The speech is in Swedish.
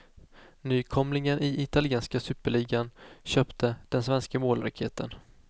Nykomlingen i italienska superligan köpte den svenske målraketen.